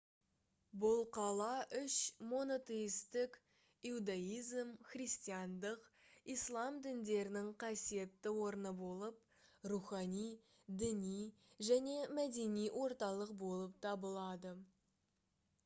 бұл қала үш монотейстік иуздаизм христиандық ислам діндерінің қасиетті орны болып рухани діни және мәдени орталық болып табылады